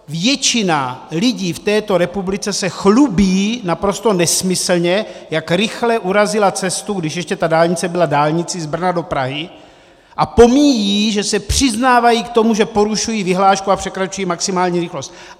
Většina lidí v této republice se chlubí naprosto nesmyslně, jak rychle urazila cestu, když ještě ta dálnice byla dálnicí z Brna do Prahy, a pomíjí, že se přiznávají k tomu, že porušují vyhlášku a překračují maximální rychlost.